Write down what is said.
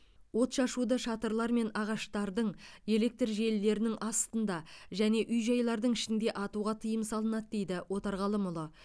отшашуды шатырлар мен ағаштардың электр желілерінің астында және үй жайлардың ішінде атуға тыйым салынады дейді отарғалымұлы